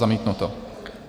Zamítnuto.